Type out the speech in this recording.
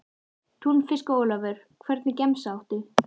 Túnfisk og ólívur Hvernig gemsa áttu?